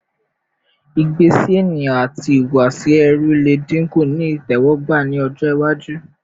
igbe si eniyan ati ihuwasi ẹru le dinku ni itẹwọgba ni ọjọ iwaju